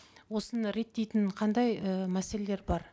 осыны реттейтін қандай і мәселелер бар